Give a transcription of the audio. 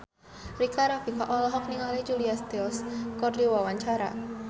Rika Rafika olohok ningali Julia Stiles keur diwawancara